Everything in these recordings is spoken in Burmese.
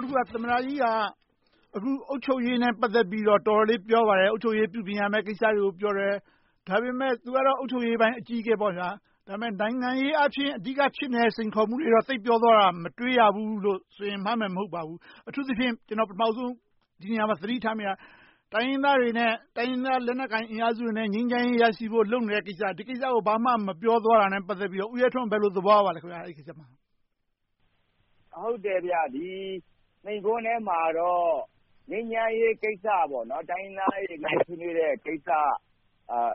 ်တခုက သမ္မတကြီးက အုပ်ချုပ်ရေးနဲ့ ပတ်သက်ပြီးတော့ တော်တော်လေး ပြောပါတယ်။ အုပ်ချုပ်ရေးကို ပြုပြင်ရမယ့်ကိစ္စတွေကို ပြောတယ်။ ဒါပေမဲ့ သူကတော့ အုပ်ချုပ်ရေးပိုင်း အကြီးအကဲဖြစ်ပေမယ့် နိုင်ငံရေးအာဖြင့် အဓိကဖြစ်နေတဲ့ စိန်ခေါ်မှုတွေကိုတော့ သိပ်ပြောသွားတာကို မတွေ့ရဘူးလို့ဆိုရင် မှားမယ်မဟုတ်ပါဘူး။ အထူးသဖြင့် ဒီနေရာမှာ ကျနော် သတိထားမိတာက တိုင်းရင်းသားတွေနဲ့ တိုင်းရင်းသား လက်နက်ကိုင်အင်အားစုတွေနဲ့ ငြိမ်းချမ်းရေးရရှိဖို့ လုပ်နေတဲ့ကိစ္စကို ဘာမှမပြောသွားတာနဲ့ ပတ်သက်လို့ ဦးရဲထွန်း ဘယ်လိုသဘောရပါသလဲ။ ဟုတ်တယ်.. ဒီမိန့်ခွန်းထဲမှာတော့ ငြိမ်းချမ်းရေးကိစ္စ၊ တိုင်းရင်းသားတွေ နိုင်ငံရေးဆွေးနွေးတဲ့ကိစ္စ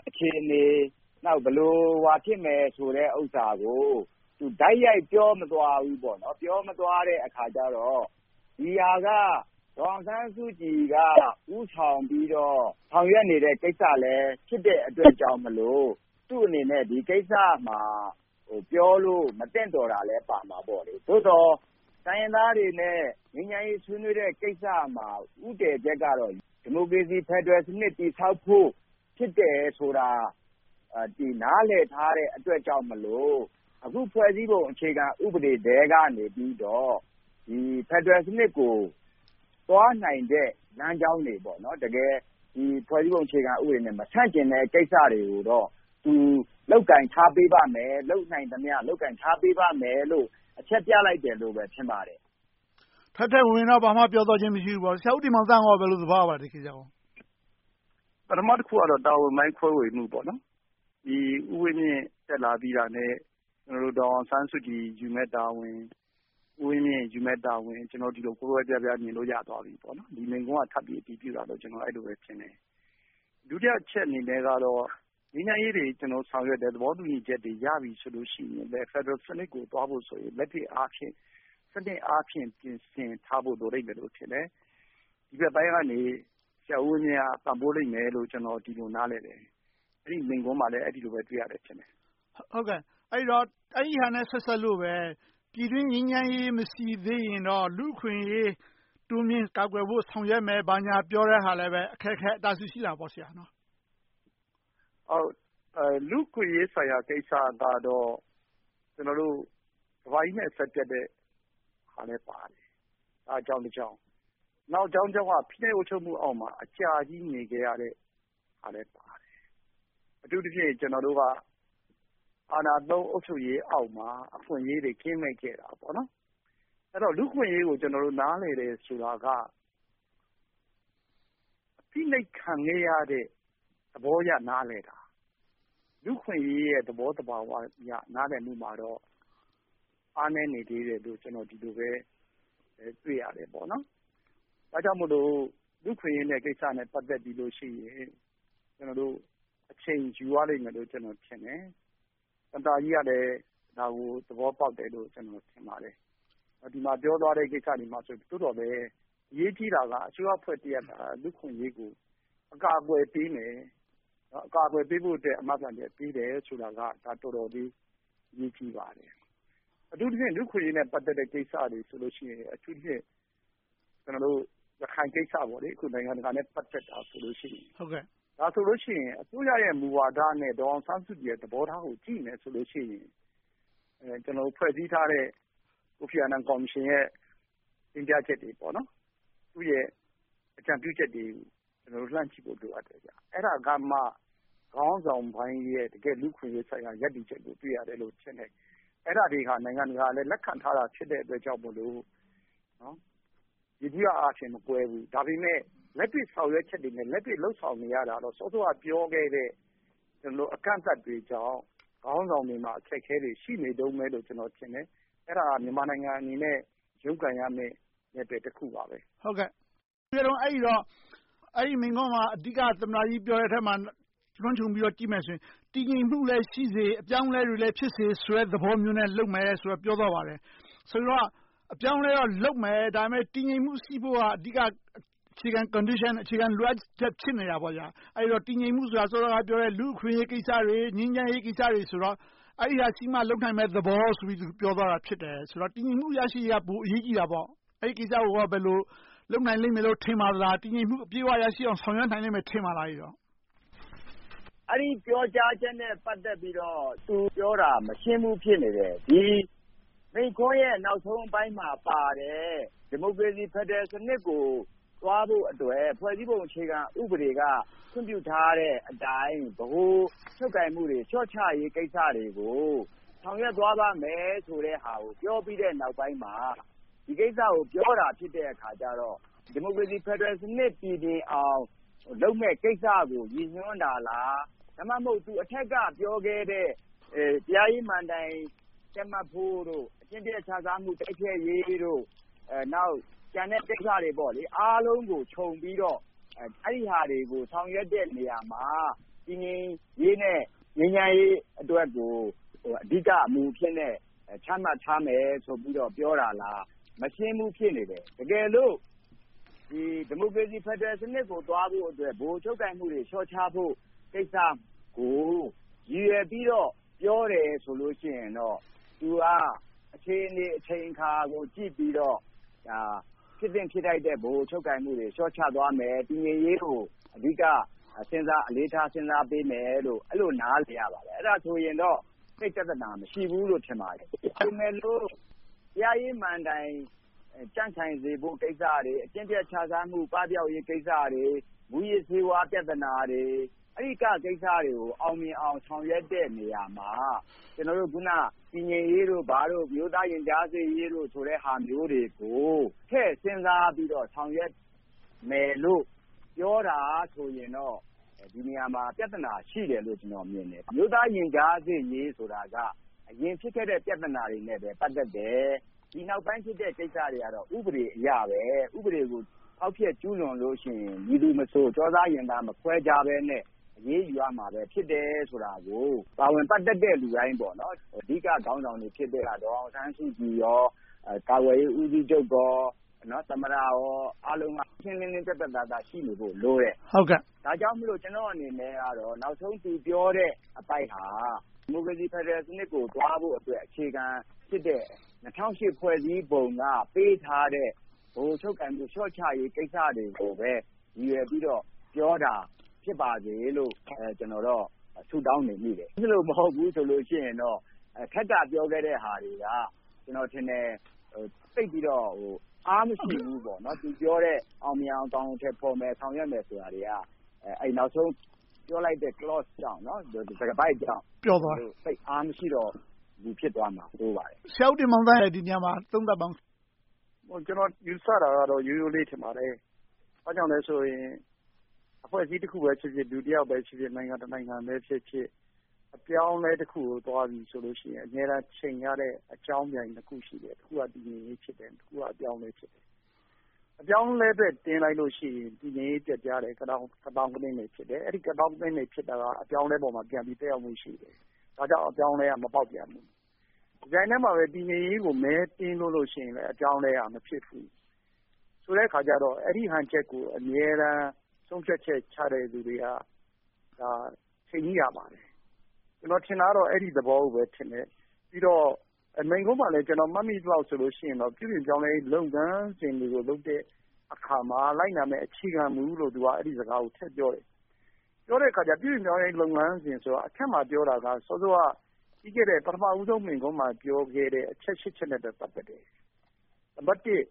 အခြေအနေ၊ နောက် ဘယ်လို ဘာဖြစ်မလဲဆိုတာကို တိုက်ရိုက်ပြောမသွားဘူး။ ပြောမသွားတဲ့အခါကြတော့ ဒီဟာက ဒေါ်အောင်ဆန်းစုကြည်က ဦးဆောင်ပြီးတော့ ဆောင်ရွက်နေတဲ့ကိစ္စလည်း ဖြစ်တဲ့အတွက်ကြောင့်ဖြစ်လို့ သူ့အနေနဲ့ ဒီကိစ္စမှာ ပြောလို့မသင့်တော်တာလည်းပါမှာပေါ့။ သို့သော် တိုင်းရင်းသားတွေနဲ့ ငြိမ်းချမ်းရေးဆွေးနွေးတဲ့ကိစ္စမှာ ဦးတည်ချက်ကတော့ ဒီမိုကရေစီ ဖယ်ဒရယ်စနစ် တည်ဆောက်ဖို့ ဖြစ်တယ်ဆိုတာ နားလည်ထားတဲ့အတွက်ကြောင့်မို့ အခုဖွဲ့စည်းပုံ အခြေခံဥပဒေထဲကနေပြီးတော့ ဖယ်ဒရယ်စနစ်ကို သွားနိုင်တဲ့ လမ်းကြောင်းတွေ။ တကယ်ဖွဲ့စည်းပုံအခြေခံနဲ့ မဆန့်ကျင်တဲ့ကိစ္စတွေကိုတော့ သူ လုပ်ကိုင်ထားပေးပါမယ်။ လုပ်နိုင်သမျှ လုပ်ကိုင်ထားပေးပါမယ်လို့ အချက်ပြလိုက်တယ်လို့ပဲ ထင်ပါတယ်။ ထဲထဲဝင်ဝင်တော့ ဘာမှပြောဆိုသွားခြင်း မရှိဘူးပေါ့။ ဒီကိစ္စကို ဆရာဦးတင်မောင်သန်း ဘယ်လို သဘောရပါလဲ။ ပထမတခုကတော့ တာဝန်ပိုင်း ခွဲဝေမှု။ ဦးဝင်းမြင့် တက်လာပြီးတာနဲ့ ဒေါ်အောင်ဆန်းစုကြည် ယူမယ့်တာဝန်၊ ဦးဝင်းမြင့်ယူမယ့်တာဝန်တွေကို ဒီလို ကွဲကွဲပြားပြား မြင်လို့ရသွားပြီ။ ဒီမိန့်ခွန်းက ထပ်ပြီးအတည်ပြုတာလို့ပဲ အဲဒီလိုမြင်တယ်။ ဒုတိယအချက်အနေနဲ့တော့ ငြိမ်းချမ်းရေးတွေ ဆောင်ရွက်တယ်။ သဘောတူညီချက်တွေ ရပြီဆိုလို့ရှိရင်လဲ ဖယ်ဒရယ်စနစ်ကို သွားဖို့ဆိုရင် လက်တွေ့အားဖြင့် စနစ်အားဖြင့် ပြင်ဆင်ထားဖို့ လိုလိမ့်မယ်လို့ထင်တယ်။ ဒီဘက်ပိုင်းကနေ ဆရာဦးဝင်းမြင့်က ပံ့ပိုးလိမ့်မယ်လို့ ကျနော် အဲဒီလို နားလည်တယ်။ အဲဒီမိန့်ခွန်းမှာလည်း အဲဒီလိုပဲ တွေ့ရတယ်ထင်တယ်။ အဲဒီတော့ အဲဒီဟာနဲ့ ဆက်စပ်လို့ပဲ ပြည်တွင်းငြိမ်းချမ်းရေး မရှိသေးရင်တော့ လူ့အခွင့်အရေး တိုးမြှင့်ကာကွယ်ဆောင်ရွက်မယ်၊ ဘာညာပြောတဲ့ဟာလဲ အခက်အခဲ အတားအဆီး ရှိလာတာပေါ့ ဆရာ။ လူ့အခွင့်အရေးဆိုင်ရာကိစ္စကတော့ ကမ္ဘာကြီးနဲ့ အဆက်ပြတ်တဲ့ဟာနဲ့လည်းပါတယ်။ အဲဒါက အကြောင်းတကြောင်း။ နှစ်တကြောင်းက ဖိနှိပ်အုပ်ချုပ်မှုအောက်မှာ အကြာကြီးနေခဲ့ရတဲ့ဟာလည်းပါတယ်။ အထူးသဖြင့် ကျနော်တို့က အာဏာသုံး အုပ်ချုပ်ရေးအောက်မှာ အခွင့်အရေးတွေ ကင်းမဲ့ခဲ့တာ။ လူ့အခွင့်အရေးကို ကျနော်တို့ နားလည်တယ်ဆိုတာက ဖိနှိပ်ခံခဲ့ရတဲ့ သဘောအရ နားလည်တာ။ လူ့အခွင့်အရေးရဲ့ သဘောသဘာဝအရ နားလည်မှုမှာတော့ အားနည်းနေသေးတယ်လို့ ကျနော် ဒီလိုပဲ တွေ့ရတယ်။ ဒါကြောင့်မို့ လူ့အခွင့်အရေးကိစ္စနဲ့ ပတ်သက်လို့ရှိရင် အချိန်ယူရလိမ့်မယ်လို့ ကျနော် ထင်တယ်။ သမ္မတကြီးကလည်း ဒါကို သဘောပေါက်တယ်လို့ ကျနော် ထင်ပါတယ်။ ဒီမှာပြောသွားတဲ့ ကိစ္စတွေမှာ သို့သော်လဲ အရေးကြီးတာက အစိုးရအဖွဲ့အစည်းတရပ်က လူ့အခွင့်အရေးကို အကာအကွယ်ပေးမယ်။ အကာအကွယ်ပေးဖို့အတွက် အာမခံချက် ပေးတယ်ဆိုတာက တော်တော်လေး အရေးကြီးပါတယ်။ အထူးသဖြင့် လူ့အခွင့်အရေးနဲ့ ပတ်သက်တဲ့ ကိစ္စတွေဆိုလို့ရှိရင် အထူးသဖြင့် ကျနော်တို့ ရခိုင်ကိစ္စ - နိုင်ငံတကာနဲ့ ပတ်သက်နေတဲ့ ကိစ္စဆိုရင် အစိုးရရဲ့ မူဝါဒနဲ့ ဒေါ်အောင်ဆန်းစုကြည်ရဲ့ သဘောထားကို ကြည့်မယ်ဆိုရင် ဖွဲ့စည်းထားတဲ့ ကိုဖီအာနန် ကော်မရှင်ရဲ့ တင်ပြချက်တွေ။ သူ့ရဲ့ အကြံပြုချက်တွေကို လှမ်းကြည့်ဖို့ လိုအပ်တယ်။ အဲဒါကမှ ခေါင်းဆောင်ပိုင်းရဲ့ တကယ့်လူ့အခွင့်အရေးဆိုင်ရာ ရပ်တည်ချက်ကို တွေ့ရမယ်လို့ ထင်တယ်။ အဲဒါတွေကလဲ နိုင်ငံတကာက လက်ခံထားတာဖြစ်တဲ့အတွက်ကြောင့်မို့ ယေဘုယျအားဖြင့် မကွဲဘူး။ ဒါပေမဲ့ လက်တွေ့ဆောင်ရွက်ချက်တွေနဲ့ လက်တွေ့လုပ်ဆောင်နေရတာတော့ စောစောက ပြောခဲ့တဲ့ အကန့်အသတ်တွေကြောင့် ခေါင်းဆောင်တွေမှာ အခက်အခဲတွေ ရှိနေတုန်းပဲလို့ ကျနော် ထင်တယ်။ အဲဒါဟာ မြန်မာနိုင်ငံအနေနဲ့ လုပ်ကိုင်ရမယ့် နယ်ပယ်တခုပါ။ အဲဒီတော့ အဲဒီမိန့်ခွန်းမှာ အဓိက သမ္မတကြီး ပြောတာကို လွှမ်းခြုံကြည့်လိုက်ရင် တည်ငြိမ်မှုလည်းရှိစေ၊ အပြောင်းအလဲတွေလည်း ဖြစ်စေဆိုတဲ့ သဘောမျိုးနဲ့ လုပ်နေမယ်လို့ ပြောသွားပါတယ်။ ဆိုတော့ အပြောင်းအလဲတော့လုပ်မယ်။ ဒါပေမဲ့ တည်ငြိမ်မှု ရှိဖို့က အဓိက - အခြေခံ Condition, အခြေခံ လိုအပ်ချက် ဖြစ်နေတာပေါ့။ အဲဒီတော့ တည်ငြိမ်မှုဆိုတာ စောစောကပြောတဲ့ လူ့အခွင့်အရေးကိစ္စတွေ၊ ငြိမ်းချမ်းရေးကိစ္စတွေဖြစ်တော့ အဲဒါတွေရှိမှ လုပ်နိုင်မယ့်သဘောဆိုပြီး ပြောသွားတာ ဖြစ်တယ်။ ဆိုတော့ တည်ငြိမ်မှု ရရှိရေးက ပိုအရေးကြီးတာပေါ့။ အဲဒီကိစ္စကို ဘယ်လို လုပ်နိုင်လိမ့်မယ်လို့ ထင်ပါသလား။ တည်ငြိမ်မှု အပြည့်အဝ ရရှိအောင် ဆောင်ရွက်နိုင်လိမ့်မယ်လို ထင်ပါသလား။ အဲဒီပြောကြားချက်နဲ့ ပတ်သက်ပြီးတော့ သူပြောတာ မရှင်းဘူး ဖြစ်နေတယ်။ မိန့်ခွန်းရဲ့ နောက်ဆုံးပိုင်းမှာပါတဲ့ ဒီမိုကရေစီ ဖယ်ဒရယ်စနစ်ကို သွားဖို့အတွက် ဖွဲ့စည်းပုံအခြေခံဥပဒေက ခွင့်ပြုထားတဲ့အတိုင်း ဗဟိုချုပ်ကိုင်မှုတွေ လျှော့ချရေးကိစ္စတွေကို ဆောင်ရွက်သွားမယ့်ဟာကို ပြောပြီးတဲ့နောက်ပိုင်းမှာ ဒီကိစ္စကို ပြောတာဖြစ်တဲ့အခါကြတော့ ဒီမိုကရေစီ ဖယ်ဒရယ်စနစ် ပြီပြင်အောင် လုပ်မယ့်ကိစ္စကို ရည်ညွှန်းတာလား။ ဒါမှမဟုတ် အထက်က ပြောခဲ့တဲ့ တရားရေးမဏ္ဍိုင် တည်မတ်ဖို့၊ အကျင့်ပျက်ခြစားမှု တိုက်ဖျက်ရေး၊ နောက် ကျန်တဲ့ကိစ္စတွေ အားလုံးကိုခြုံပြီးတော့ ဆောင်ရွက်တဲ့နေရာမှာ တည်ငြိမ်ရေး နဲ့ ငြိမ်းချမ်းရေး အတွက်ကို မူအဖြစ်နဲ့ ချမှတ်ထားမယ်လို့ ပြောတာလား။ မရှင်းဘူး ဖြစ်နေတယ်။ တကယ်လို ဒီမိုကရေစီ ဖယ်ဒရယ်စနစ်ကို သွားဖို့အတွက် အခြေအနေ၊ အချိန်အခါကို ကြည့်ပြီးတော့ ဒါဟာ ဖြစ်သင့်ဖြစ်ထိုက်တဲ့ ဗဟိုချုပ်ကိုင်မှုတွေ လျှော့ချဖို့ကိစ္စကို၊ တည်ငြိမ်းရေးကို အဓိကစဉ်းစားထာပေးမယ်လို့ အဲဒီလို နားလည်ရပါတယ်။ အဲဒါဆိုရင်တော့ သိပ်ပြဿနာ မရှိဘူးလို့ ထင်ပါတယ်။ အကယ်၍ တရားရေးမဏ္ဍိုင် ကြံ့ခိုင်စေဖို့ကိစ္စတွေ၊ အကျင့်ပျက်ခြစားမှု လုံးဝပပျောက်ရေး ကိစ္စတွေ။ မှုးယစ်ဆေးဝါး ပြဿနာတွေ။ အဲဒီကိစ္စတွေကို အောင်မြင်အောင် ဆောင်ရွက်တဲ့နေရာမှာ အခုန တည်ငြိမ်းရေးတို့၊ ဘာတို့၊ အမျိုးသားရင်ကြားစေ့ရေး ဆိုတဲ့ဟာတွေကို ထည့်စဉ်းစားပြီတော့ ဆောင်ရွက်မယ်လို့ ပြောတာဆိုရင်တော့ ဒီနေရာမှာ ပြဿနာတွေ ရှိတယ်လို့ မြင်တယ်။ အမျိုးသားရင်ကြားစေ့ရေးဆိုတာက အရင်ဖြစ်ခဲ့တဲ့ ပြဿနာတွေနဲ့ပဲ ပတ်သက်တယ်။ ဒီနောက်ပိုင်းဖြစ်တဲ့ ကိစ္စတွေက ဥပဒေအရပဲ။ ဥပဒေကို ဖော်ဖျက်ကျူးလွန်လို့ရှိရင် မည်သူမဆို၊ ကျောသား၊ ရင်ထဲ မခွဲခြားတတ်ဘဲ အရေးယူရမယ် ဖြစ်တယ်လို့ ပါဝင်ပတ်သက်တဲ့ လူတိုင်း အဓိကခေါင်းဆောင်တွေ ဖြစ်ခဲ့ရတာကတော့ ဒေါ်အောင်ဆန်းစုကြည်နဲ့ ကာကွယ်ရေး ဦးစီးချုပ်၊ သမ္မတ အားလုံးက ရှင်းရှင်းလင်းလင်း ပြတ်ပြတ်သားသား ရှိနေဖို့လိုတယ်။ ဒါကြောင့်မို့ ကျနော်အနေနဲ့ နောက်ဆုံး သူပြောတဲ့အပိုင်းဟာ ဒီမိုကရေစီ ဖယ်ဒရယ်စနစ်ကို သွားဖို့အတွက် အခြေခံဖြစ်တဲ့ ၂၀၀၈ ဖွဲ့စည်းပုံက ပေးထားတဲ့ ဗဟိုချုပ်ကိုင်မှု လျှော့ချရေးကိစ္စတွေကိုပဲ ရည်ရွယ်ပြီးတော့ ပြောတာ ဖြစ်ပါတယ်လို့ ကျနော်တော့ ဆုတောင်းနေမိတယ်။ အဲဒီလို မဟုတ်ဘူးဆိုရင်တော့ အထက်က ပြောခဲ့တဲ့ဟာတွေက ကျနော်ထင်တယ် သိပ်ပြီးတော့ အားမရှိဘူး။ သူပြောတဲ့ အောင်မြင်အောင် အကောင်အထည်ဖော်မယ်။ ဆောင်ရွက်မယ်ဆိုတာတွေက နောက်ဆုံး Clone ကြောင့် သိပ်အားမရှိတော့ ဖြစ်သွားမှာ ဆိုးပါတယ်။ ဆရာဦးတင်မောင်သန်း ဒါကို သုံးသပ်ပါအုံး။ ကျနော် ယူဆတာကတော့ ရိုးရိုးလေးထင်ပါတယ်။ ဘာကြောင့်လဲဆိုရင် အဖွဲ့အစည်း တဖွဲ့ပဲဖြစ်ဖြစ် လူတယောက်ဖြစ်ဖြစ်၊ နိုင်ငံတနိုင်ငံပဲဖြစ်ဖြစ် အပြောင်းအလဲတခုကို သွားပြီဆိုရင် အမြဲတမ်း ယှဉ်ရတဲ့ အကြောင်းပြန်နှစ်ခု ရှိတယ်။ တခုက တည်ငြိမ်ရေး ဖြစ်တယ်။ နောက်တခုက အပြောင်းအလဲ ဖြစ်တယ်။ အပြောင်းအလဲအတွက် တင်းလိုက်လို့ရှိရင် တည်ငြိမ်ရေးပျက်ပြားတယ်။ ကသောင်းကနင်း ဖြစ်တယ်။ အဲဒီ ကသောင်းကနင်းတွေ ဖြစ်တာက အပြောင်းအလဲပေါ်မှာပြန်ပြီး သက်ရောက်မှုရှိနေတယ်။ ဘာကြောင့် အပြောင်းအလဲက မပေါက်ပြန်လဲ။ တပြိုင်တည်းမှာ တည်ငြိမ်ရေးကို မဲတင်းလို့ရှိရင် အပြောင်းအလဲက မဖြစ်ဘူး။ ဆိုတဲ့အခါကြတော့ အဲဒီဟန်ချက်ကို အမြဲတမ်း ဆုံးဖြတ်ချက်ချတဲ့ လူတွေက ထိန်းညှိရလိမ့်မယ်။ ကျနော်ထင်တာကတော့ အဲဒီသဘောကိုပဲထင်တယ်။ ပြီးတော့ မိန့်ခွန်းမှာလည်း ကျနော် မှတ်မိသလောက်ဆိုရင် ပြုပြင်ပြောင်းလဲရေး လုပ်ငန်းစဉ်တွေကိုလုပ်တဲ့အခါမှာ လိုက်နာရမယ့် အခြေခံမူလို့ အဲဒီစကားကို သူက ထည့်ပြောတယ်။ ပြောတဲ့အခါကြတော့ ပြုပြင်ပြောင်းလဲရေး လုပ်ငန်းစဉ်ကို အထက်မှာပြောတာက စောစောက ပထမဦးဆုံး မိန့်ခွန်းမှာပြောခဲ့တဲ့ အချက် ရှစ်ချက်နဲ့လည်း ပတ်သက်တယ်။ နံပတ်တစ်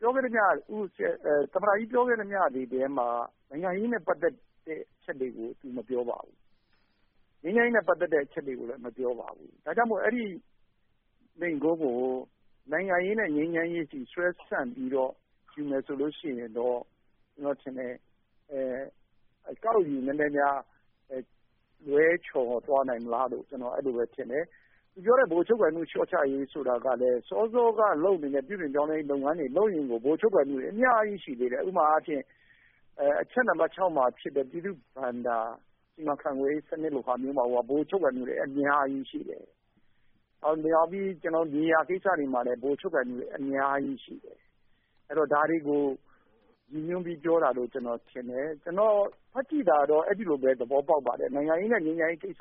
သမ္မတကြီး ပြောခဲ့သမျှတွေထဲမှာ နိုင်ငံရေးနဲ့ ပတ်သက်တဲ့ အချက်တွေကို သူမပြောပါဘူး။ ငြိမ်းချမ်းရေးနဲ့ ပတ်သက်တဲ့ အချက်တွေကိုလည်း မပြောပါဘူး။ ဒါကြောင့်မို့ အဲဒီမိန့်ခွန်းကို နိုင်ငံရေးနဲ့ ငြိမ်းချမ်းရေးအထိ ဆွဲဆန့်ပြီးတော့ ယူမယ်ဆိုရင်တော့ ကျနော်ထင်တယ် အကောက်ယူနည်းနည်းများ လွဲချော်သွားနိုင်မလားလို့ ကျနော် အဲဒီလိုပဲထင်တယ်။ သူပြောတဲ့ ဗဟိုချုပ်ကိုင်မှု လျှော့ချရေးဆိုတာကလဲ စောစောက လုပ်နေတဲ့ ပြုပြင်ရေးလုပ်ငန်းတွေကိုလုပ်ရင် ဗဟိုချုပ်ကိုင်မှုတွေ အများကြီးရှိတယ်။ ဥပမာအားဖြင့် အချက်နံပတ်ခြောက်မှာဖြစ်တဲ့ ပြည်သူ့ဘဏ္ဍာ စီမံခန့်ခွဲရေးမှာတင် ဗဟိုချုပ်ကိုင်မှုတွေ အများကြီးရှိတယ်။ မြေယာကိစ္စတွေမှာလည်း ဗဟိုချုပ်ကိုင်မှုတွေ အများကြီးရှိတယ်။ ဒါတွေကို ရည်ညွှန်းပြီးပြောတာလို့ ကျနော်ထင်တယ်။ ကျနော် ဖတ်ကြည့်တာတော့ အဲဒီလိုပဲ သဘောပေါက်ပါတယ်။ နိုင်ငံရေးနဲ့ ငြိမ်းချမ်းရေးကိစ္စ